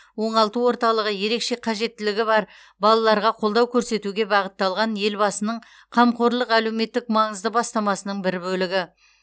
оңалту орталығы ерекше қажеттіліктері бар балаларға қолдау көрсетуге бағытталған елбасының қамқорлық әлеуметтік маңызды бастамасының бір бөлігі